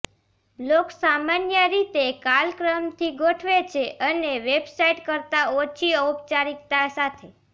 blogs સામાન્ય રીતે કાલક્રમથી ગોઠવે છે અને વેબસાઇટ કરતાં ઓછી ઔપચારિકતા સાથે